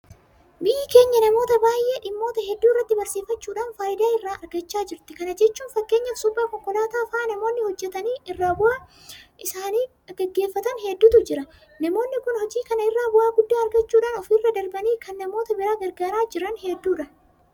Biyyi keenya namoota baay'ee dhimmoota hedduu irratti barsiifachuudhaan faayidaa irraa argachaa jirti. Kana jechuun fakkeenyaaf suphaa konkolaataa fa'aa namoonni hojjetanii ittiin jiruu isaanii gaggeeffatan hedduutu jira. Namoonni kun hojii kana irraa bu'aa guddaa argachuudhaan ofirra darbanii kan namoota biraa gargaaraa jiran hedduudha.